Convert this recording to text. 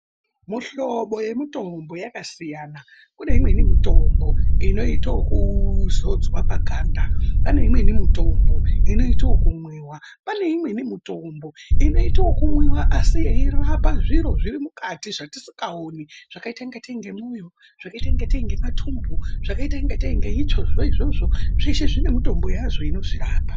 Mihlobo yemitombo yakasiyana kune imweni mitombo inoito yekuzodzwa paganda, paneimweni mitombo inotwe yekumwiwa, paneimweni mitombo inotwe yekumwiwa asi yeirapa zviro zviri mukati zvatisingaoni zvakaita ingatei ngemwoyo, zvakaita ngatei ngematumbu, zvakaita ngatei ngeitsvo izvozvo zveshe zvinemitombo yazvo inozvirapa.